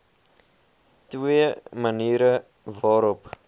twee maniere waarop